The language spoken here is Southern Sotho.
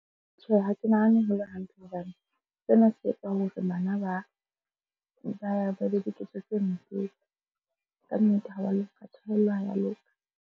Tjhe, ha ke nahane ho le hantle hobane sena se etsa hore bana ba be le diketso tse ntlo. Kannete ha wa loka ha ya loka.